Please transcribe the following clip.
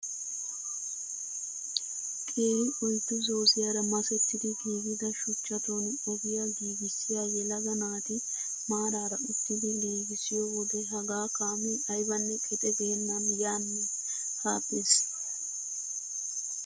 Qeeri oyddu zooziyaara masettidi giigida shuchchatun ogiyaa giigissiyaa yelaga naati maarara uttidi giigissiyoo wode hagaa kaamee aybanne qexe geennan yaanne ha bes!